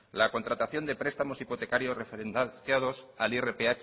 la contratación de prestamos hipotecados referenciados al irph